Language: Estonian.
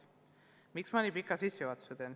Miks ma nii pika sissejuhatuse teen?